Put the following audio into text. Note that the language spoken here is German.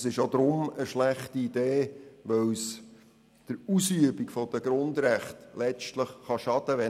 Es ist zudem eine schlechte Idee, da es der Ausübung der Grundrechte schaden kann.